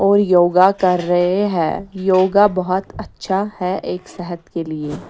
और योगा कर रहे हैं योगा बहुत अच्छा है एक सेहत के लिए--